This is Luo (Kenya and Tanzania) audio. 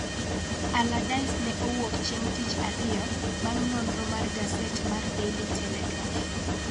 Allardyce ne owuok chieng' tich ariyo bang' nonro mar gaset mar Daily Telegraph